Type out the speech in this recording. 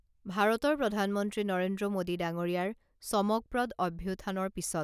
ভাৰতৰ প্ৰধানমন্ত্ৰী নৰেন্দ্ৰ মোডী ডাঙৰীয়াৰ চমকপ্ৰদ অভ্যুথানৰ পিছত